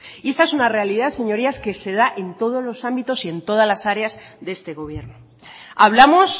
y esta es una realidad señorías que se da en todos los ámbitos y todas las áreas de este gobierno hablamos